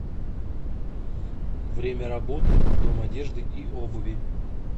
время работы дом одежды и обуви